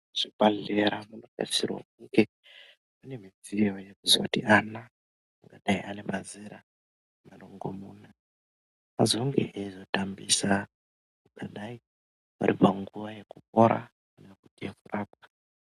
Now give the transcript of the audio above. Zvibhahlera zvinotarisirwa kunge mune midziyo yekuzoti ana angadai anemazera marongomuna azenge eizotambisa paangadai aripanguva yekupora, yekurapwa.